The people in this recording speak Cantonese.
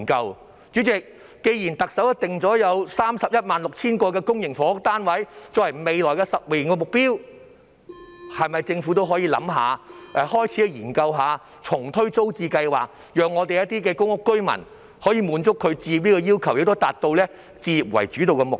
代理主席，既然特首訂定了 316,000 間公營房屋單位作為未來10年的目標，政府是否可以考慮開始研究重推租置計劃，讓公屋居民滿足置業需求，並達到以置業為主導的目標？